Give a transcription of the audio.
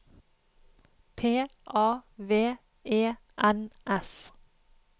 P A V E N S